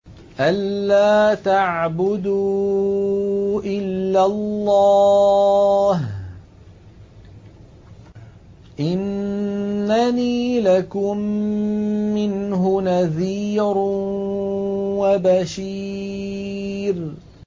أَلَّا تَعْبُدُوا إِلَّا اللَّهَ ۚ إِنَّنِي لَكُم مِّنْهُ نَذِيرٌ وَبَشِيرٌ